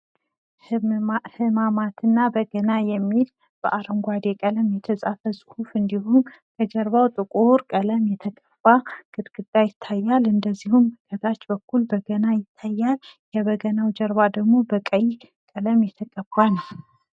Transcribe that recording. ህማማትና በገና የሚል በአረንጓዴ የተጻፈ ጽሑፍ እና ከጀርባ ጥቁር ቀለም የተቀባ ግድግዳ እንዲሁም ከታች በገና እና ከበገናው ኋላ ቀይ ቀለም ይታያል።